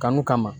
Kanu kama